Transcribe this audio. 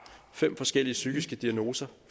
fem forskellige psykiske diagnoser